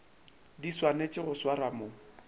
di swanetšego go swarwa mo